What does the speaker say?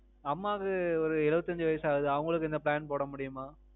அம்மாக்கு ஒரு எழுவத்தி அஞ்சு வயசு ஆகுது அவங்களுக்கு இந்த plan போட முடியுமா?